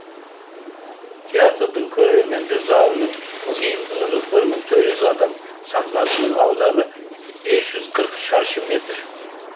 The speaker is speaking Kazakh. тетардың көрермендер залының сыйымдылығы бір мың төрт жүз адам сахнасының ауданы бес жүз қырық шаршы метр